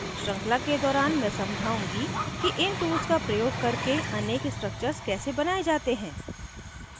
श्रृंखला के दौरान मैं समझाउंगी कि इन tools का प्रयोग करके अनेक structures कैसे बनाये जाते हैं